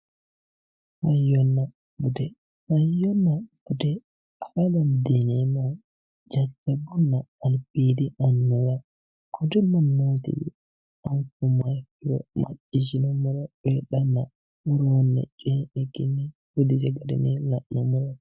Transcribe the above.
hayyonna bude hayyonna bude afa dandiinemmohu jajjabbunna albiidi annuwa kuri mannotiwiinni afummoha ikkiro maccishshine woroonni coyi'nikkinni